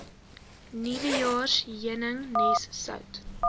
nuwejaars heuningnes sout